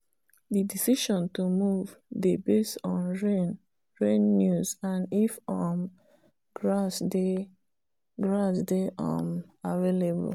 the decision to move dey based on rain rain news and if um grass dey grass dey um avaliable